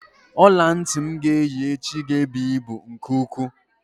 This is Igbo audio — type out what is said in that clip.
Ọlantị m ga-eyi echi ga-ebu ibu nke ukwuu.